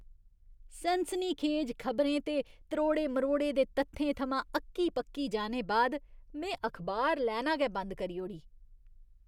सनसनीखेज खबरें ते त्रोड़े मरोड़े दे तत्थें थमां अक्की पक्की जाने बाद में अखबार लैना गै बंद करी ओड़ी।